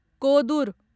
Kodur